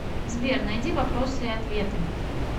сбер найди вопросы и ответы